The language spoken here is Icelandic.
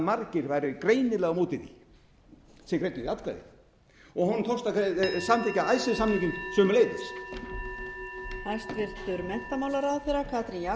margir væru greinilega á móti því sem greiddu því atkvæði honum tókst að samþykkja icesave samninginn sömuleiðis